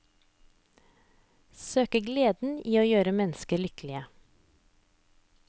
Søk gleden i å gjøre mennesker lykkelige.